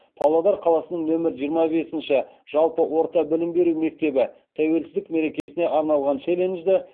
павлодар қаласының нөмірі жиырма бесінші жалпы орта білім беру мектебі тәуелсіздік мерекесіне арналған челленджді